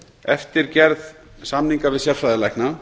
eftir gerð samninga við sérfræðilækna